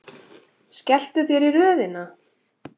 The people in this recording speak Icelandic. Skelltu þér í röðina.